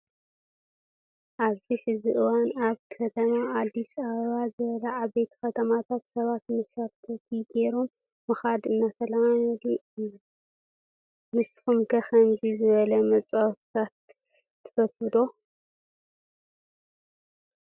ኣብዚ ሕዚ እዋን ኣብ ከም ኣዲስ ኣበባ ዝበሉ ዓበይቲ ከተማታት ሰባት ብመሸራቲቲ ገይሮም ምዃድ እናተለመደ እዩ። ንስኹም ኸ ከምዚ ዝበለ መፃወትታት ትፈትዉ ዶ?